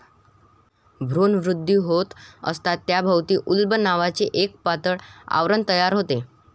भ्रूणवृद्धी होत असता त्याभोवती उल्ब नावाचे एक पातळ आवरण तयार होते.